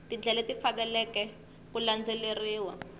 tindlela leti faneleke ku landzeleriwa